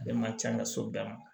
Ale man ca n ka so bɛɛ